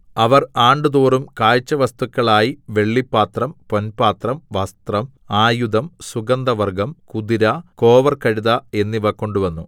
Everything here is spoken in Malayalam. അവർ ആണ്ടുതോറും കാഴ്ചവസ്തുക്കളായി വെള്ളിപ്പാത്രം പൊൻപാത്രം വസ്ത്രം ആയുധം സുഗന്ധവർഗ്ഗം കുതിര കോവർകഴുത എന്നിവ കൊണ്ടുവന്നു